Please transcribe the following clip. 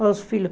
Para os filhos.